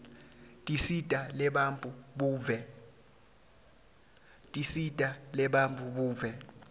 tinsita tebantfu buve